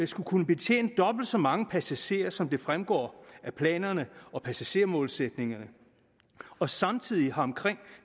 skal kunne betjene dobbelt så mange passagerer som det fremgår af planerne og passagermålsætningerne og samtidig har omkring